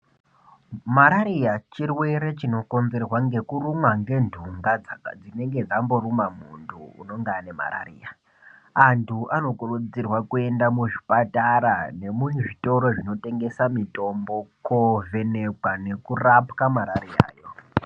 Marariya chirwere chinokonzerwa ngekurumwa ngentunga dzinenge dzamboruma muntu unenge ane marariya. Antu anokurudzirwa kuenda muzvipatara nemuzvitoro zvinotengesa mitombo kovhenekwa nekurapwa marariya.